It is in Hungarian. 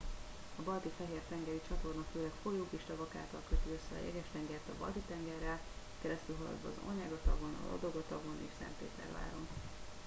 a balti fehér tengeri csatorna főleg folyók és tavak által köti össze a jeges tengert a balti tengerrel keresztülhaladva az onyega tavon a ladoga tavon és szentpéterváron